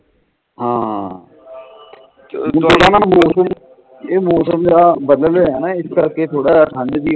ਹਾਂ ਇਹ ਮੌਸਮ ਜਿਹੜਾ ਬਦਲ ਰਿਹਾ ਨਾ ਇਸ ਕਰਕੇ ਥੋੜਾ ਜਾ ਠੰਡ ਜੀ